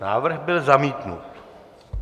Návrh byl zamítnut.